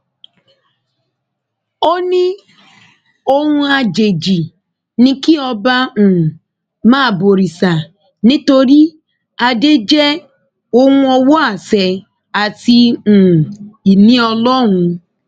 ó ní ohun àjèjì ni kí ọba um máa bọrìṣà nítorí adé jẹ ohun ọwọ àṣẹ àti um ìní ọlọrun